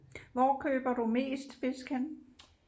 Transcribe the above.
Hvor køber du mest fisk henne